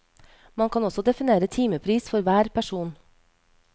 Man kan også definere timepris for hver person.